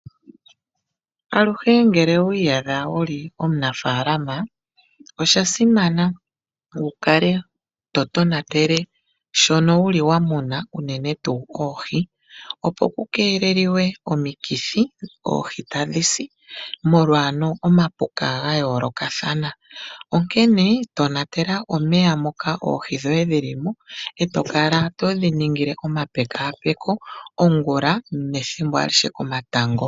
Aluhe ngele owiyadha wuli omunafalama osha simana wukale to tonatele shono wuli wamuna unene tu oohii, opo pukelelwe omikithi oohii tadhisi molwa omapuka gayoloka thana, onkene tonatela omeya moka oohii dhoye dhilimo oto kala todhiningile oma pekapeko ongula nethimbo alihe komatango.